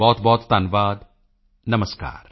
ਬਹੁਤਬਹੁਤ ਧੰਨਵਾਦ ਨਮਸਕਾਰ